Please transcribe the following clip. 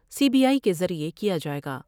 C B I کے ذریعہ کیا جائے گا ۔